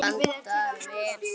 Blandað vel saman.